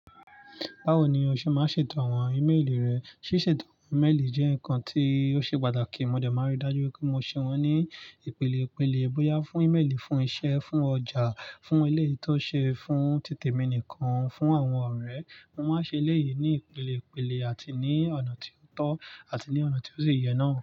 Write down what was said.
Báwo ni o ṣe máa ń ṣètò àwọn ímeèlì rẹ? Ṣíṣètò àwọn ímeèlì jẹ́ nǹkan tí ó ṣe pàtàkì. Mo dẹ̀ máa rí dájú pé mo ṣe wọ́n ní ìpele ìpele. Bọyá fún ímeèlì fún iṣẹ́, fún ọjà, fún eleyii toṣe, fún títẹ̀ mí nìkan, fún àwọn ọ̀rẹ́. Mo máa ń ṣe eleyii ní ìpele ìpele àti ní ọ̀nà tí ó tọ́ àti ní ọ̀nà tí ó sì yẹ náà.